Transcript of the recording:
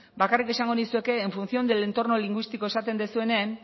bakarrik esango nizueke en función del entorno lingüístico esaten duzuenen